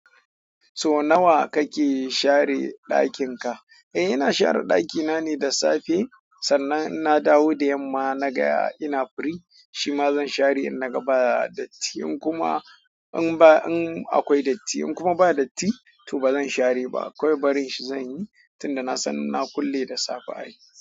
So nawa kake share ɗakin ka? Eh ina share ɗakina ne da safe sannan in na dawo da yamma na ga ina firi shima zan share in naga ba datti in kuma in ba in akwai datti in kuma ba datti to bazan share ba kawai barin shi zanyi tunda nasan na kulle da safe.